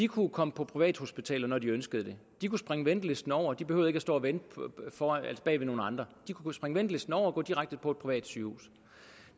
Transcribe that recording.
kunne komme på privathospital når de ønskede det de kunne springe ventelisten over de behøvede ikke stå og vente bag ved nogle andre de kunne springe ventelisten over og gå direkte på et privat sygehus